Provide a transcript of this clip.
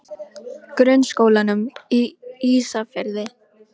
Grunnskólanum Ísafirði